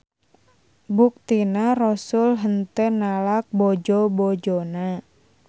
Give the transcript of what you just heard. Buktina Rosul henteu nalak bojo-bojona.